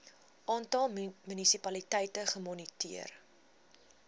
aantal munisipaliteite gemoniteer